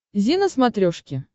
зи на смотрешке